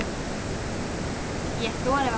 Ég þori varla.